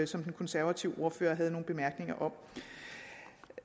som den konservative ordfører havde nogle bemærkninger om